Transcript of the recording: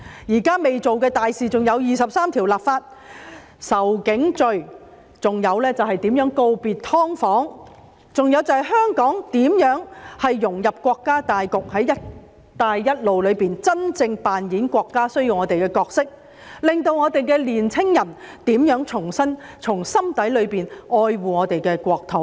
現在仍未做的大事還有為《基本法》第二十三條立法、訂定仇警罪、如何告別"劏房"，以及香港如何融入國家大局，在"一帶一路"裏真正扮演國家所需要的角色，令香港的年輕人重新從心底裏愛護我們的國土。